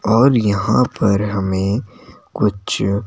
और यहां पर हमें कुछ--